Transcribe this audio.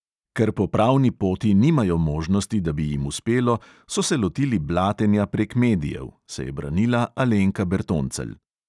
Ker po pravni poti nimajo možnosti, da bi jim uspelo, so se lotili blatenja prek medijev, se je branila alenka bertoncelj.